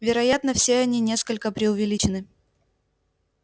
вероятно все они несколько преувеличены